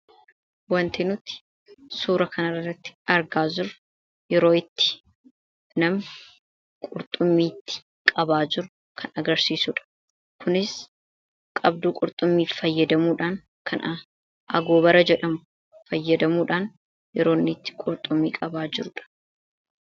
Wanti nuti suuraa kanarratti argaa jirru yeroo namni qurxummii qabaa jiru kan agarsiisudha. Kunis qabduu qurxummii fayyadamuudhaan, kan agoobara jedhamu fayyadamuudhaan, yeroo inni itti qurxummii qabaa jirudha.